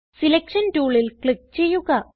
selection ടൂളിൽ click ചെയ്യുക